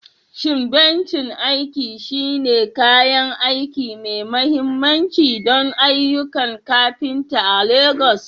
Shin bencin aiki shine kayan aiki mai mahimmanci don ayyukan kafinta a Legas?